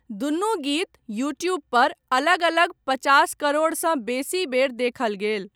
दुनू गीत, यूट्यूबपर अलग अलग पचास करोड़सँ बेसी बेर देखल गेल।